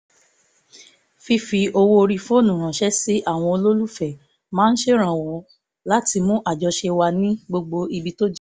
fífi owó orí fóònù ránṣẹ́ sí àwọn olólùfẹ́ máa ṣèrànwọ́ láti mú àjọṣe wà ní gbogbo ibi tó jìnnà